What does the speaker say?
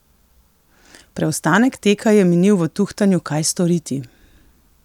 Preostanek teka je minil v tuhtanju kaj storiti?